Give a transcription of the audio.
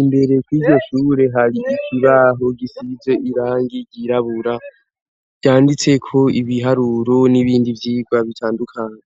imbere koityo shure hari ikibaho gisize irangi ryirabura ryanditse ko ibiharuro n'ibindi vyirwa bitandukanye.